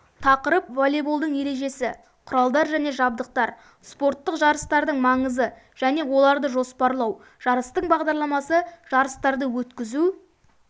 тақырып волейболдың ережесі құралдар және жабдықтар спорттық жарыстардың маңызы және оларды жоспарлау жарыстың бағдарламасы жарыстарды өткізу